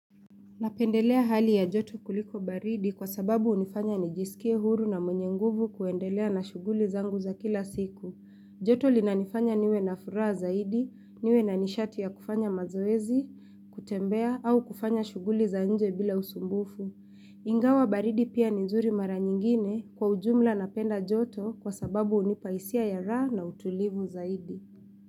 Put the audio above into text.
Napendelea hali ya joto kuliko baridi kwa sababu unifanya nijisikie huru na mwenye nguvu kuendelea na shuguli zangu za kila siku. Joto linanifanya niwe na furaha zaidi, niwe na nishati ya kufanya mazoezi, kutembea au kufanya shughuli za nje bila usumbufu. Ingawa baridi pia ni zuri mara nyingine kwa ujumla napenda joto kwa sababu unipa isia ya raha na utulivu zaidi.